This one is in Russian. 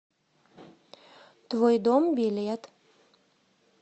твой дом билет